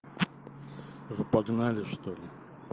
погнали что ли